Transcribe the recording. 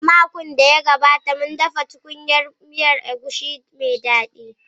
A makon da ya gabata, mun dafa tukunyar miyar egusi mai dadi.